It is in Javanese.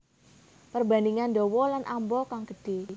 Perbandingan dawa lan amba kang gedhé